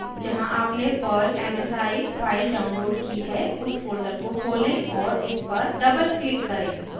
जहाँ आपने perl msi file download की है उस फोल्डर को खोलें और इस पर डबलक्लिक करें